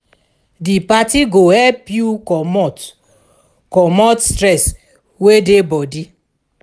di party go help yu comot comot stress wey dey body